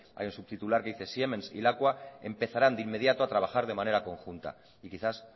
hay un subtitular que dice siemens y lakua empezarán de inmediato a trabajar de manera conjunta y quizás